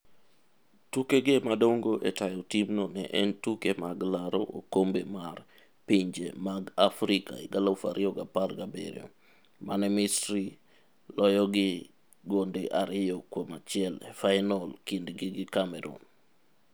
Tukege madongo e tayo timno ne en tuke mag laro okombe mar pinje mag Afrika 2017. mane Misri loyogi 2-1 e fainol kindgi gi Cameroon.